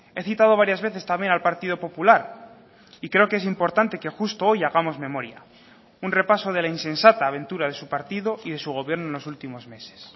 he citado varias veces también al partido popular y creo que es importante que justo hoy hagamos memoria un repaso de la insensata aventura de su partido y de su gobierno en los últimos meses